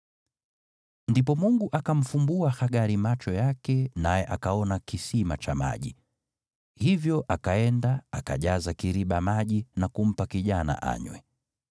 Ndipo Mungu akamfumbua Hagari macho yake naye akaona kisima cha maji. Hivyo akaenda akajaza kiriba maji na kumpa kijana anywe.